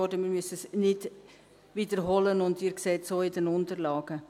ich muss es nicht wiederholen, und Sie sehen es auch in den Unterlagen.